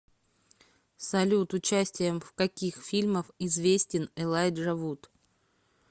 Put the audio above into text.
салют участием в каких фильмах известен элайджа вуд